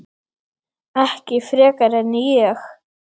Ekki frekar en ég.